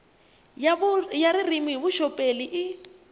ya ririmi hi vuxoperi i